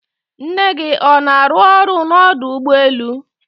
nne gị ọ na-arụ ọrụ n'ọdọ ụgbọelu?